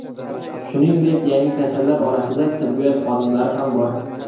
Shuningdek, yangi kasallar orasida tibbiyot xodimlari ham bor.